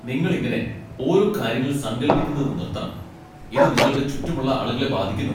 നിങ്ങൾ ഇങ്ങനെ ഓരോ കാര്യങ്ങൾ സങ്കൽപ്പിക്കുന്നത് നിർത്തണം. ഇത് നിങ്ങളുടെ ചുറ്റുമുള്ള ആളുകളെ ബാധിക്കുന്നു.